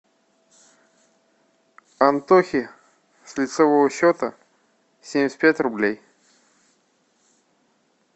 антохе с лицевого счета семьдесят пять рублей